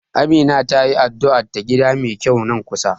Amina tayi addu'ar ta gida mai kyau nan kusa.